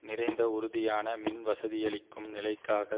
நிறைந்த உறுதியான மின் வசதியளிக்கும் நிலைக்காக